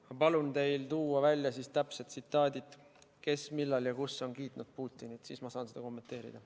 Ma palun teil tuua välja täpsed tsitaadid, kes, millal ja kus on kiitnud Putinit, siis ma saan seda kommenteerida.